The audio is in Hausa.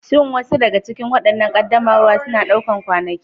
Shin wasu daga cikin waɗannan ƙaddamarwa suna ɗaukar kwanaki?